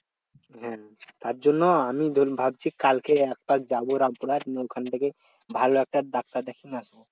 হম তার জন্য আমি ভাবছি কালকে একপাক যাবো রাম্পুরা ওখান থেকে ভালো একটা doctor দেখিয়ে আসবো